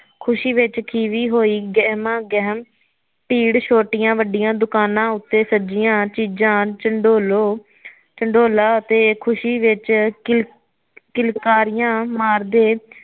ਖੁਸ਼ੀ ਵਿਚ ਖੀਵੀ ਹੋਈ ਗਹਿਮਾ ਗਹਿਮ ਭੀੜ ਛੋਟੀਆ ਵੱਡਿਆ ਦੁਕਾਨਾ ਉੱਤੇ ਸੱਜਿਆ ਚੀਜ਼ਾ ਚੰਡੋਲੋ ਚੰਡੋਲਾ ਅਤੇ ਖੁਸ਼ੀ ਵਿਚ ਕਿਲ ਕਿਲਕਾਰੀਆ ਮਾਰਦੇ